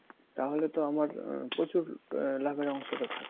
তাহলে তো আমার প্রচুর লাভার অংশটা থাকছে